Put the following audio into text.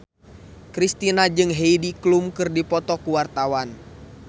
Kristina jeung Heidi Klum keur dipoto ku wartawan